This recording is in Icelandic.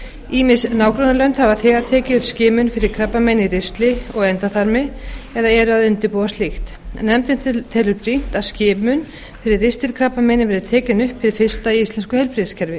ýmis nágrannalönd hafa þegar tekið upp skimun fyrir krabbameini í ristli og endaþarmi eða eru að undirbúa slíkt nefndin telur brýnt að skimun fyrir ristilkrabbameini verði tekin upp hið fyrsta í íslensku heilbrigðiskerfi